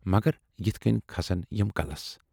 مگر یِتھٕ کٔنۍ کھسن یِم کلس۔